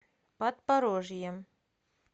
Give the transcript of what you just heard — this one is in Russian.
подпорожьем